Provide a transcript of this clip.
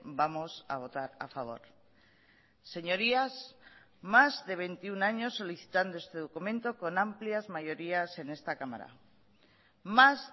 vamos a votar a favor señorías más de veintiuno años solicitando este documento con amplias mayorías en esta cámara más